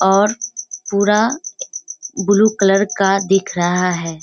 और पूरा blue colour का दिख रहा है।